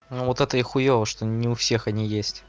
ну вот это и хуёво что не у всех они есть